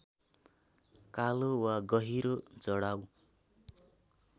कालो वा गहिरो जडाउ